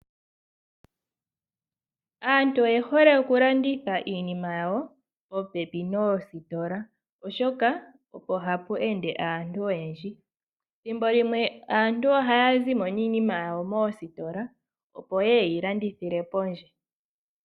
Aantu oye hole oku landitha iinima yawo popepi noositola oshoka, opo ha pu ende aantu oyendji. Thimbo limwe aantu ohaa zi mo niinima yawo moositola, opo yee ye yi landithile pondje.